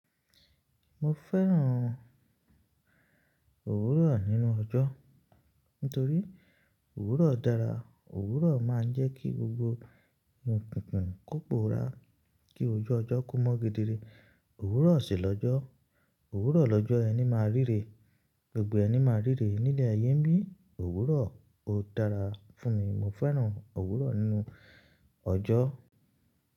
Mo fẹ́ràn òwúrọ̀ nínú ọjọ́. Nítorí òwúrọ̀ dára, òwúrọ̀ máa ń jẹ́ kí gbogbo òkùnkùn kó pora, kí ojú ọjọ́ kó mọ́ gidire. Òwúrọ̀ òsì lọ́jọ́, òwúrọ̀ lọ́jọ́ ẹni máa ríre, gbogbo ẹni máa ríre ní ilẹ̀ ayé ńbí. Òwúrọ̀ ó dára fún mi, mo fẹ́ràn òwúrọ̀ nínú ọjọ́.